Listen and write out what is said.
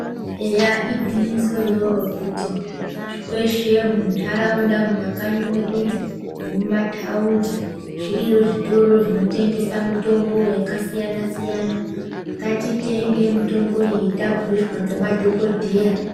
Eya igwinyiso iroro kuti kweshe muntaraunda mumakanyi mwedumwo nemumathaundi, zviriyo zvitoro zvimweni zvinotengesa mitombo yakasiyana-siyana. Ngatitenge mitombo iyi tabhuirwa ngema dhokodheya.